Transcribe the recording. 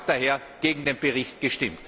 Ich habe daher gegen den Bericht gestimmt.